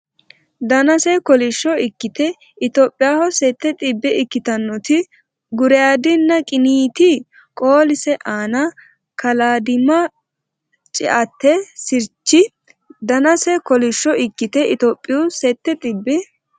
Danase kolishsho ikkite Itophiyaho sette xibbe ikkitannoti guraydinna qiniiti qoolise aana kalaadimma ceate sirchi Danase kolishsho ikkite Itophiyaho sette xibbe.